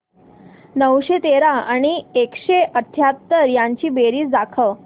नऊशे तेरा आणि एकशे अठयाहत्तर यांची बेरीज दाखव